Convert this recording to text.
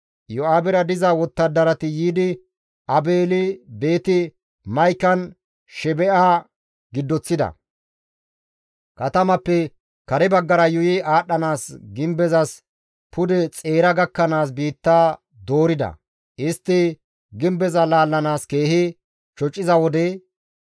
Iyo7aabera diza wottadarati yiidi Aabeeli-Beeti-Ma7ikan Sheba7e giddoththida; katamappe kare baggara yuuyi aadhdhanaas gimbezas pude xeera gakkanaas biitta doorida; istti gimbeza laallanaas keehi shociza wode,